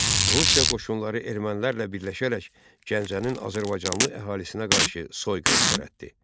Rusiya qoşunları ermənilərlə birləşərək Gəncənin azərbaycanlı əhalisinə qarşı soyqırım törətdi.